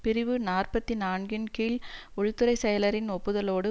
பிரிவு நாற்பத்தி நான்குன் கீழ் உள்துறை செயலரின் ஒப்புதலோடு